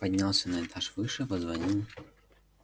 поднялся на этаж выше позвонил